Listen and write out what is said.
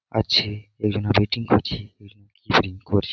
আছে একজনা পেটি করছে আর কি করছে --